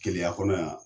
Keleya kɔnɔ yan